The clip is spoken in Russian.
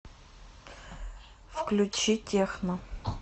включи техно